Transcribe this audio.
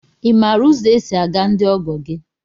I maara ụzọ e si aga ndị ọgọ gị?